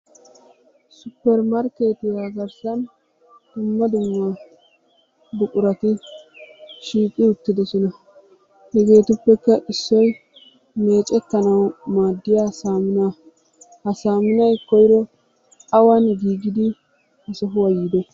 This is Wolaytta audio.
Suppermarkketiya garssan dumma dumma buqurati shiiqi uttidoosona. Hegetuppekka issoy meeccetanaw maaddiya saamuna. Ha saamunay koyro awan giigidi ha sohuwa yiide?